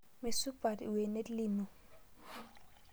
Meisupat lwenet lino